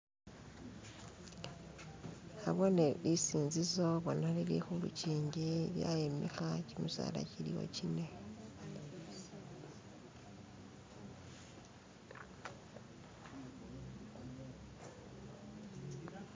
nabone lisinzizo bona lilihulukinji lyayimiha kyimisaala kyiliwo kyine